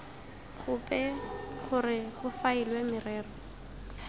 gope gore go faelwe merero